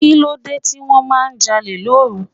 Kí ló dé tí wọ́n máa ń jalè lóru?